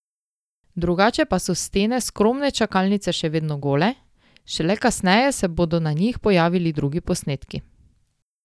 Drugače pa so stene skromne čakalnice še vedno gole, šele kasneje se bodo na njih pojavili drugi posnetki.